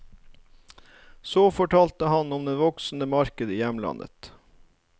Så fortalte han om det voksende markedet i hjemlandet.